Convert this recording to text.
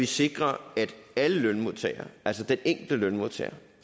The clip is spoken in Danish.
sikrer at alle lønmodtagere altså de enkelte lønmodtagere